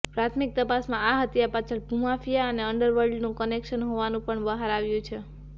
પ્રાથમિક તપાસમાં આ હત્યા પાછળ ભૂમાફિયા અને અંડરવર્લ્ડનું કનેક્શન હોવાનું પણ બહાર આવ્યું છે